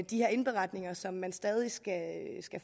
de her indberetninger som man stadig skal